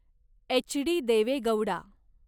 HD. Deve Gowda